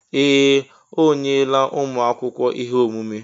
Ee! O nyela ụmụ akwụkwọ ihe omume.